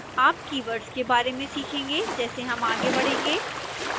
आप keywords के बारे में सीखेंगे जैसे हम आगे बढ़ेंगे